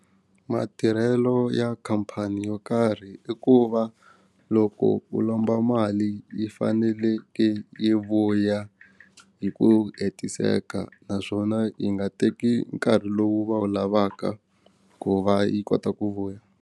Matirhelo ya khampani yo karhi i ku va loko u lomba mali yi faneleke yi vuya hi ku hetiseka naswona yi nga teki nkarhi lowu va wu lavaka ku va yi kota ku vuya.